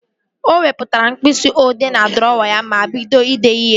O wepụtara mkpịsị odee n'drọwa ya ma bido idee ihe